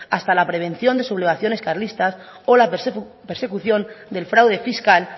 hasta la prevención de sublevaciones carlistas o la persecución del fraude fiscal